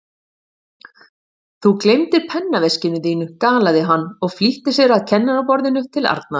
Þú gleymdir pennaveskinu þínu galaði hann og flýtti sér að kennaraborðinu til Arnar.